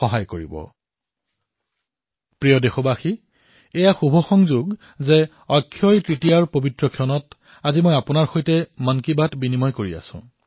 মোৰ মৰমৰ দেশবাসীসকল এয়া সুখদ সংযোগ যে মই আপোনালোকৰ সৈতে মন কী বাতত কথা পাতি থকাৰ সময়তে দেশত অক্ষয়তৃতীয়াৰ পৰ্ব পালন কৰা হৈছে